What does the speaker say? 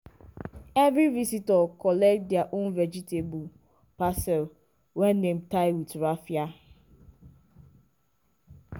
every visitor collect their own vegetable parcel wey dem tie with raffia.